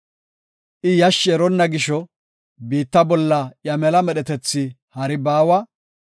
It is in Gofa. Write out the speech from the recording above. I yashshi eronna gisho, biitta bolla iya mela medhetethi hari baawa.